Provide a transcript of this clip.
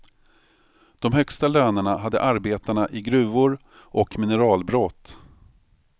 De högsta lönerna hade arbetarna i gruvor och mineralbrott.